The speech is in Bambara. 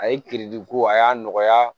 A ye ko a y'a nɔgɔya